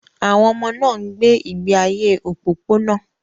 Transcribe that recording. Àwọn ọmọ náà ń gbé ìgbé ayé òpópónà.